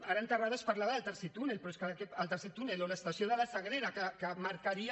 ara en terrades parlava del tercer túnel però és que el tercer túnel o l’estació de la sagrera que marcaria